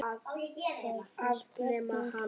Hvað fannst Bjarna um það?